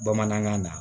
Bamanankan na